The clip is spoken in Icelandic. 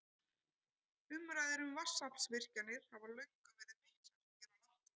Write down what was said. Umræður um vatnsaflsvirkjanir hafa löngum verið miklar hér á landi.